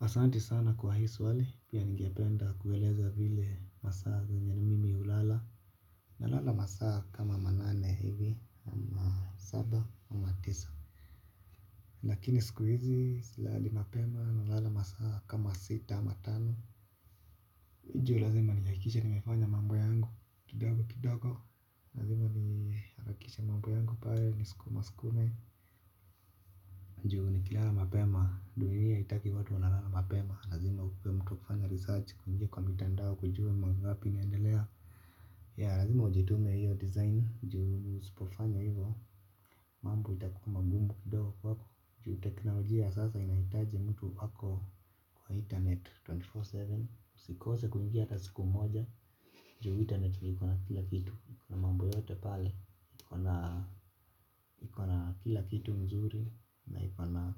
Asanti sana kwa hi swali pia ninge penda kueleza vile masaa zenye ni mimi julala nalala masaa kama manane hivi ama saba ama tisa. Lakini sikuhizi silali mapema nalala masaa kama sita ama tano. Hujo lazima ni hakikishe nimefanya mambo yangu kidogo kidogo lazima ni hakikishe mambo yangu pale niskuma skume. Njuu ni kilala mapema, duniya hitaki watu wanalala mapema. Lazima ukue mtu kufanya research kuingia kwa mitandao kujua mangapi naendelea. Ya lazima ujitume hiyo design njuu usipofanya hivo. Mambu itakuwa magumbu kidogo kwako. Njuu teknoloji ya sasa inahitaji mtu ako kwa internet 24x7. Sikose kuingia ata siku moja juu internet ni ikona kila kitu ikona mambo yote pale ikona kila kitu mzuri na ikona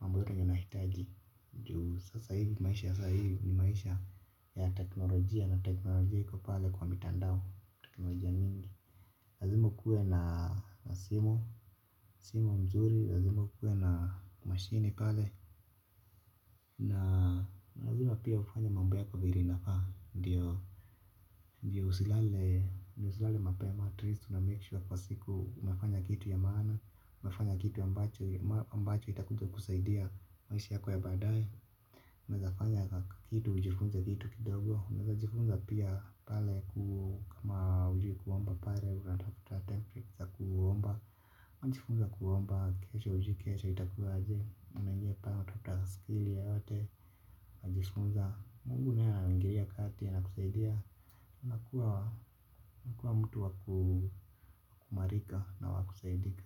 mambo yote yenye unahitaji juu sasa hivi maisha ya sai ni maisha ya teknolojia na teknolojia iko pale kwenye mtandao teknolojia mingi lazima ukuwe na simu simu mzuri lazima ukuwe na mashini pale na lazima pia ufanye mambo yako vire ina faa ndio usilale usilale mapema atleast unamake sure kwa siku umefanya kitu ya mana umefanya kitu ambacho mbacho itakuja kusaidia maisha yako ya badae. Mezafanya kitu, ujifunze vitu kidogo unaeza jifunza pia pale kama ujuikuomba pare. Unatafuta template za kuomba unajifunza kuomba kesho hujui kesho itakua aje unaingia pale unatafuta skill yoyote unajifunza. Mungu naye anaingilia kati anakusaidia unakuwa mtu wa kuimarika na wa kusaidika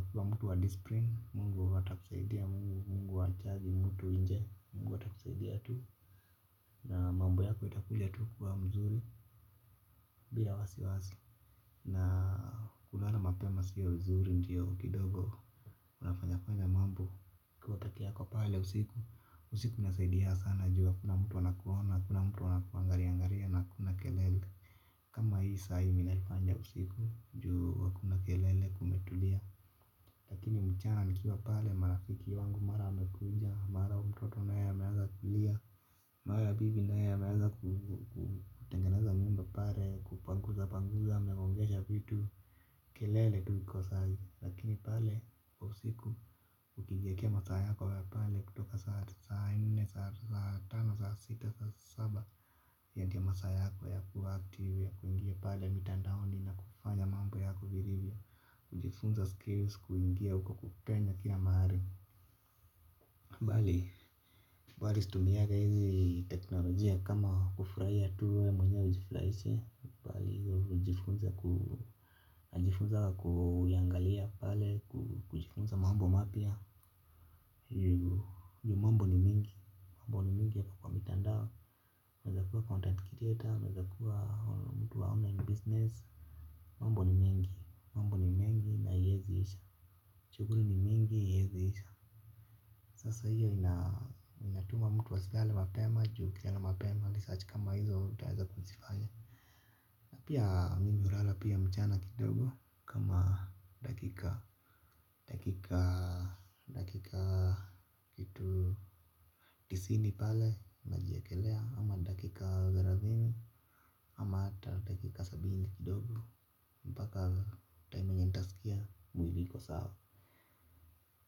ukiwa mtu wa discipline. Mungu atakusaidia Mungu Mungu atakusaidia Mungu atakusaidia tuu. Na mambo yako itakulia tuu kuwa mzuri bila wasiwasi. Na kulala mapema sio nzuri ndio kidogo. Kuna fanya fanya mambo ukiwa pekeako pale usiku. Usiku inasaidia sana juu hakuna mtu anakuona hakuna mtu anakuangariangaria na kuna kelele. Kama hii sahi minalifanya usiku juu hakuna kelele kumetulia. Lakini mchana nikiwa pale marafiki wangu mara wamekuja, mara umtoto na ye ameaza kulia, mawe ya bibi na ya ameaza kutengeneza nyumba pale, kupanguza panguza, amegongesha vitu, kelele tu ikosangi. Lakini pale kwa usiku ukikijiekea masaa yako ya pale kutoka saa nne, saa tano, saa sita, saa saba. Ya ndio masa yako ya kuaactivul ya kuingia pale mitandaoni na kufanya mambo yako vilivyo. Kujifunza skills kuingia huko kupenya ka mahari. Bali, bali stumianga hizi teknolojia kama kufrahia tu we mwenyewe ujifuraishe bali, ujifunze kujifunza kuyangalia pale kujifunza mambo mapya. Juu mambo ni mingi, mambo ni mingi yapo kwa mitandao, unaezakuwa content creator, uneazakuwa mtu wa online business. Mambo ni mingi, mambo ni mengi na iezi isha shuguli ni mingi iyezi isha. Sasa hiyo inatuma mtu asilale mapema, juu ukila mapema, research kama hizo utaheza kuzifaya. Pia mimi urala pia mchana kidogo kama dakika dakikaa dakikaa kitu tisini pale unajielelekea ama dakika thelathini ama hata dakika sabini kidogo mpaka time yenye nitaskia mwili iko sawa.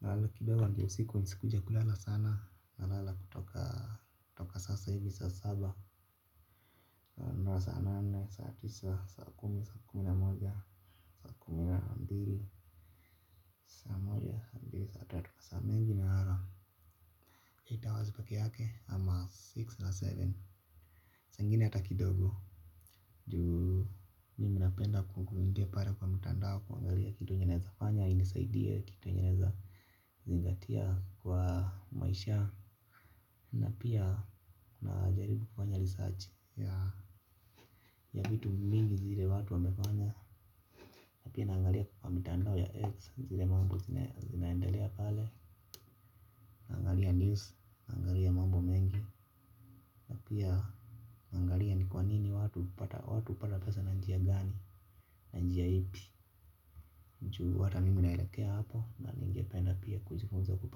Nalala kidogo ndio usiku nisikuje kulala sana nalala kutoka sasa hivi saa saba mbika mbika mbika mbika mbika mbika mbika mbika mbika mbika mbika mbika saa tatu masaa mengi nalala eight hours pekeake saa ingine six ama seven. Saingine hata kidogo. Juu, mimi napenda kukuingia pare kwa mtandao. Kuangalia kitu yenye naeza fanya, indisaidia. Kitu yenye naeza zingatia kwa maisha. Na pia, unajaribu kufanya research. Ya vitu mingi zile watu wamefanya. Na pia naangalia kwa mitandao ya X. Zile mambo zinaendelea pale naangalia news, naangalia mambo mengi. Na pia, naangalia ni kwa nini watu watu hupata pesa na njia gani, na njia ipi juu hata mimi naelekea hapo na ningependa pia kujifunza kupata.